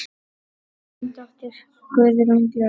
Þín dóttir, Guðrún Björg.